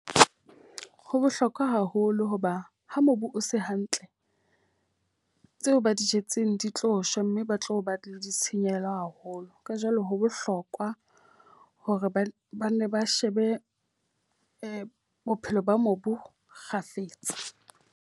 Ho bohlokwa haholo hoba ha mobu o se hantle, tseo ba di jetseng di tlo shwa mme ba tlo ba le ditshenyehelo haholo. Ka jwalo ho bohlokwa hore ba banne ba shebe bophelo ba mobu kgafetsa.